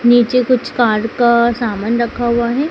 नीचे कुछ कार्ड का सामान रखा हुआ हैं।